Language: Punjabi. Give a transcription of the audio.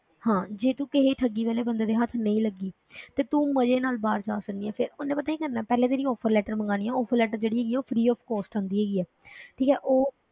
ਹਾਂ ਜੇ ਤੂੰ ਕਿਸੇ ਠੱਗੀ ਵਾਲੇ ਬੰਦੇ ਦੇ ਹੱਥ ਨਹੀਂ ਲੱਗੀ ਤੇ ਤੂੰ ਮਜ਼ੇ ਨਾਲ ਬਾਹਰ ਜਾ ਸਕਦੀ ਹੈ, ਫਿਰ ਉਹਨੇ ਪਤਾ ਕੀ ਕਰਨਾ ਹੈ, ਪਹਿਲੇ ਤੇਰੀ offer letter ਮੰਗਵਾਉਣੀ ਹੈ offer letter ਜਿਹੜੀ ਹੈਗੀ ਹੈ, ਉਹ free of cost ਹੁੰਦੀ ਹੈਗੀ ਹੈ ਠੀਕ ਹੈ ਉਹ,